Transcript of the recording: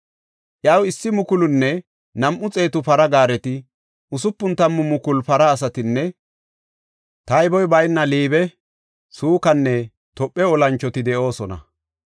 Iyaw issi mukulunne nam7u xeetu para gaareti, usupun tammu mukulu para asatinne tayboy bayna Liibe, Sukanne Tophe olanchoti de7oosona.